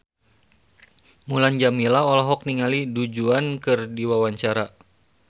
Mulan Jameela olohok ningali Du Juan keur diwawancara